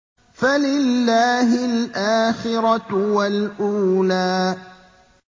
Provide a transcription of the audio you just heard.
فَلِلَّهِ الْآخِرَةُ وَالْأُولَىٰ